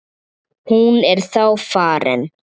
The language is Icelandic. Hún er þá farin.